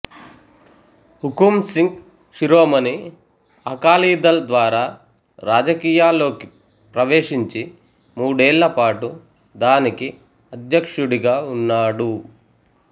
హుకుమ్ సింగ్ శిరోమణి అకాలీదళ్ ద్వారా రాజకీయాల్లోకి ప్రవేశించి మూడేళ్లపాటు దానికి అధ్యక్షుడిగా ఉన్నాడు